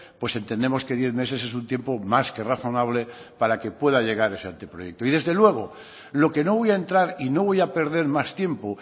pues entendemos que diez meses es un tiempo más que razonable para que pueda llegar ese anteproyecto desde luego lo que no voy a entrar y no voy a perder más tiempo